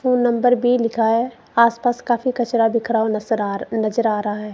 वो नम्बर बी लिखा है आस पास काफी कचरा बिखरा हुआ नसर आ रहा नजर आ रहा है।